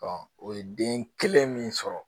o ye den kelen min sɔrɔ